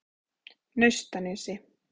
Naustanesi